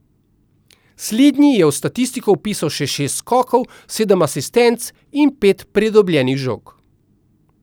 Slednji je v statistiko vpisal še šest skokov, sedem asistenc in pet pridobljenih žog.